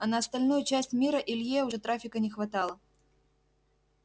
а на остальную часть мира илье уже трафика не хватало